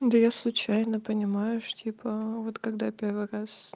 да я случайно понимаешь типа вот когда первый раз